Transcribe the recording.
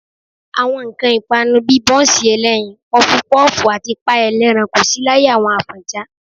Àwọn nǹkan ìpanu bí i bọ́ńsì ẹlẹ́yin, pọfupọ́ọ̀fù àti páì ẹlẹ́ran kò sí láyé àwọn Àfọ̀njá